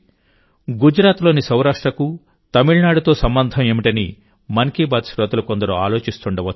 గుజరాత్లోని సౌరాష్ట్రకు తమిళనాడుతో సంబంధం ఏమిటనిమన్ కీ బాత్ శ్రోతలు కొందరు ఆలోచిస్తుండవచ్చు